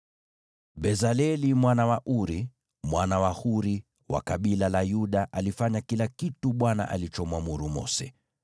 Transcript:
(Bezaleli mwana wa Uri, mwana wa Huri, wa kabila la Yuda, alifanya kila kitu Bwana alichomwamuru Mose,